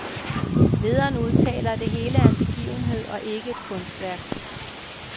Lederen udtaler, at det hele er en begivenhed og ikke et kunstværk.